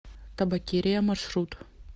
табакерия маршрут